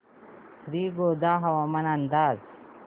श्रीगोंदा हवामान अंदाज